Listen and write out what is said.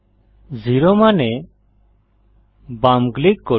0000 মান এ বাম ক্লিক করুন